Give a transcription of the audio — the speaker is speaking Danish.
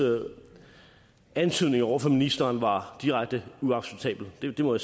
antydninger over for ministeren var direkte uacceptabel det må